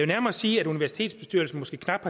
nærmere sige at universitetsbestyrelserne måske knap